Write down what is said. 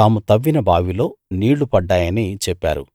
తాము తవ్విన బావిలో నీళ్ళు పడ్డాయని చెప్పారు